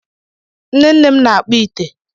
Nnenne m na-akpu ite.